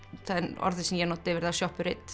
orðið sem ég nota yfir það